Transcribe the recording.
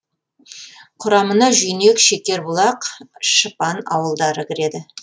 құрамына жүйнек шекербұлақ шыпан ауылдары кіреді